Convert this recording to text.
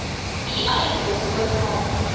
u eiendom oorgaan